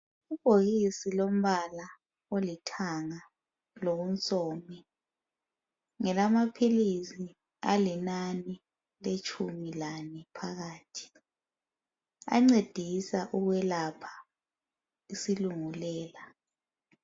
ibhokisi lombala olithanga lonsomi ngelama philisi alinani alitshumi lane phakathi ancedisa ukwelapha isilungulela